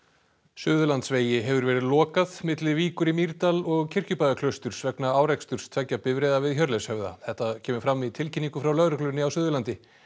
Suðurlandsvegi hefur verið lokað milli Víkur í Mýrdal og Kirkjubæjarklausturs vegna áreksturs tveggja bifreiða við Hjörleifshöfða þetta kemur fram í tilkynningu frá lögreglunni á Suðurlandi